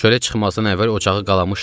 Çölə çıxmazdan əvvəl ocağı qalamışdım.